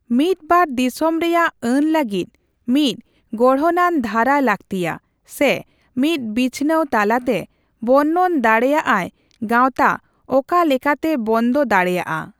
ᱢᱤᱫ ᱵᱟᱨ ᱫᱤᱥᱚᱢᱨᱮᱭᱟᱜ ᱟᱹᱱ ᱞᱟᱜᱤᱫ ᱢᱤᱫ ᱜᱚᱲᱦᱚᱱᱟᱱ ᱫᱷᱟᱨᱟ ᱞᱟᱹᱠᱛᱤᱭᱟ, ᱥᱮ ᱢᱤᱫ ᱵᱤᱪᱷᱱᱟᱹᱣ ᱛᱟᱞᱟᱛᱮ ᱵᱚᱨᱱᱚᱱ ᱫᱟᱲᱮᱹᱭᱟᱜ ᱟᱭ ᱜᱟᱣᱛᱟ ᱚᱠᱟᱞᱮᱠᱟᱛᱮ ᱵᱚᱱᱫᱚ ᱫᱟᱲᱮᱹᱭᱟᱜᱼᱟ ᱾